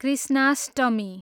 Krishnashtami